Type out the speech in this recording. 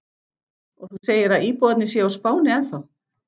Og þú segir að íbúarnir séu á Spáni ennþá?